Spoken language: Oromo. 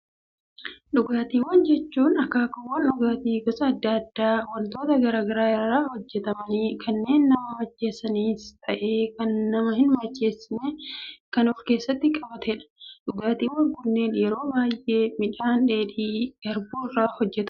Dhugaatiiwwan jechuun, akkaakuuwwan dhugaatii gosa addaa addaa, waantota garaagaraa irraa hojjetamanii, kanneen nama macheessanis ta'ee kan nama hin macheessiin kan of keessatti qabatedha. Dhugaatiiwwan kanneen yeroo baayyee midhaan dheedhii garbuu irraa hojjetama.